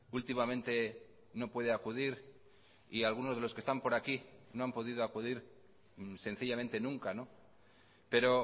últimamente no puede acudir y algunos de los que están por aquí no han podido acudir sencillamente nunca pero